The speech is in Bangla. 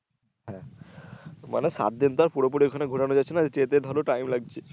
হ্যা মানে সাতদিন তো আর পুরোপুরি ওখানে ঘুরানো গেছে না যেতে ধরো time লাগছে।